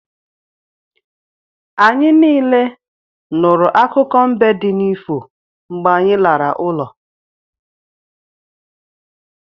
Anyị niile nụrụ akụkọ mbe di n'ifo mgbe anyị lara ụlọ